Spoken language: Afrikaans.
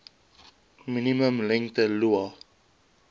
minimum lengte loa